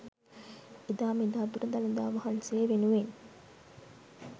එදා මෙදා තුර දළදා වහන්සේ වෙනුවෙන්